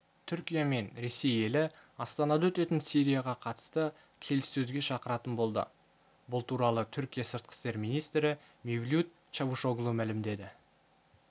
түркия мен ресей елі астанада өтетін сирияға қатысты келіссөзге шақыратын болды бұл туралы түркия сыртқы істер министрі мевлют чавушоглу мәлімдеді